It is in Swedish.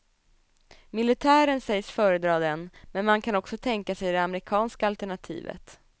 Militären sägs föredra den, men man kan också tänka sig det amerikanska alternativet.